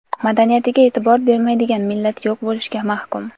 madaniyatiga e’tibor bermaydigan millat yo‘q bo‘lishga mahkum.